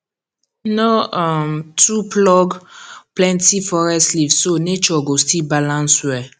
no um too pluck plenty forest leaf so nature go still balance well